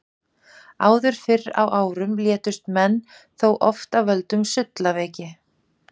Áður fyrr á árum létust menn þó oft af völdum sullaveiki.